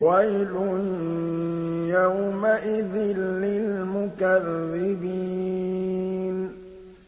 وَيْلٌ يَوْمَئِذٍ لِّلْمُكَذِّبِينَ